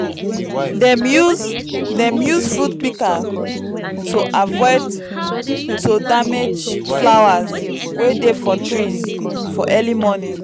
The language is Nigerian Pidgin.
dem use dem use fruit pikas to avoid to damage flowers wey dey for trees for early morning